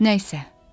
Nə isə.